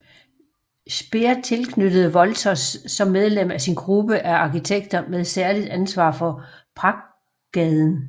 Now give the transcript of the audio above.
Speer tilknyttede Wolters som medlem af sin gruppe af arkitekter med særligt ansvar for pragtgaden